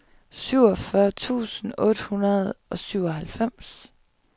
syvogfyrre tusind otte hundrede og syvoghalvfems